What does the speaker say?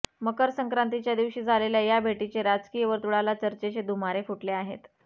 मकर संक्रातीच्या दिवशी झालेल्या या भेटीने राजकीय वर्तुळाला चर्चेचे धुमारे फुटले आहेत